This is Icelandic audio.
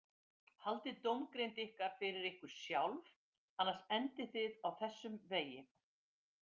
Haldið dómgreind ykkar fyrir ykkur sjálf, annars endið þið á þessum vegi.